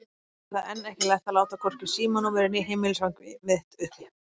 Ég hafði enn ekki lært að láta hvorki símanúmerið né heimilisfangið mitt uppi.